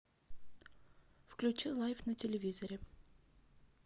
включи лайф на телевизоре